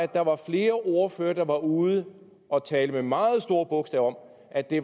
der var flere ordførere der var ude at tale med meget store bogstaver om at det